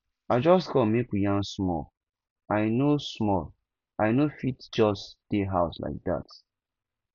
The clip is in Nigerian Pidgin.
i just come make we yarn small i no small i no fit just dey house like dat